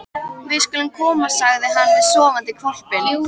Við skulum komast, sagði hann við sofandi hvolpinn.